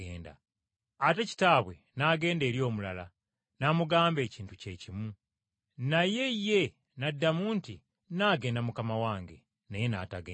“Ate kitaabwe n’agenda eri omulala n’amugamba ekintu kye kimu. Naye ye n’addamu nti, ‘Nnaagenda mukama wange.’ Naye n’atagenda.